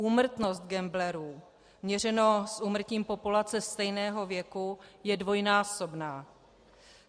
Úmrtnost gamblerů měřeno s úmrtím populace stejného věku je dvojnásobná.